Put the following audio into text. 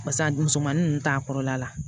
Barisa a dusu mansi ninnu t'a kɔrɔla la